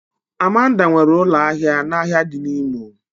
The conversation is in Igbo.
Amanda nwere ụlọ ahịa n'ahịa dị n'Imo